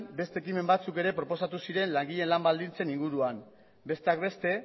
beste ekimen batzuk ere proposatu ziren langileen lan baldintzen inguruan besteak beste